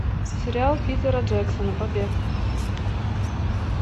сериал питера джексона побег